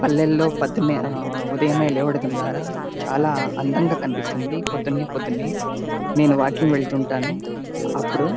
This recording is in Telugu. పల్లెల్లో పతేమే ఆ ఉదయమే లేవడం ద్వారా చాలా అందంగా కనిపిస్తుంది. పొద్దున్నే పొద్దున్నే నేను వాకింగ్ వెళ్తుంటాను. అప్పుడు--